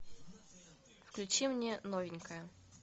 включи мне новенькая